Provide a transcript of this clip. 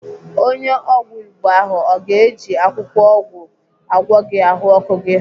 Onye ọgwụ Igbo ahụ ọ ga-eji akwụkwọ ọgwụ agwọ gị ahụọkụ gị?